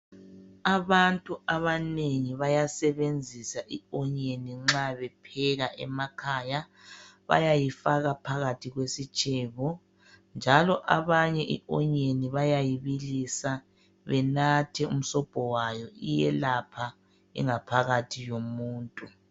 Abantu abanengi bayasebenzisa i onyeni nxa bepheka emakhaya. Bayayifaka phakathi kwesitshebo njalo abanye i onyeni bayayibilisa benathe umsobho wayo, iyelapha ingaphakathi yomuntu.